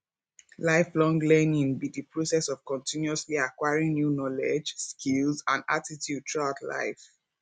lifelong learning be di process of continuously acquiring new knowledge skills and attitude throughout life